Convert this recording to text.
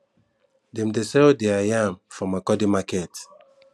dem dey sell their yam for makurdi market